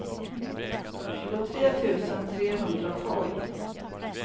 tjugotre tusen trehundratolv